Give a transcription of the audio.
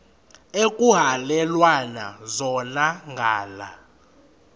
ekuhhalelwana zona ngala